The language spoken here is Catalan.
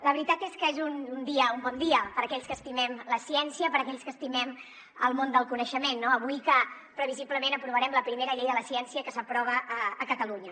la veritat és que és un dia un bon dia per a aquells que estimem la ciència per a aquells que estimem el món del coneixement no avui que previsiblement aprovarem la primera llei de la ciència que s’aprova a catalunya